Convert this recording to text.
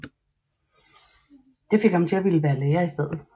Det fik ham til at ville være lærer i stedet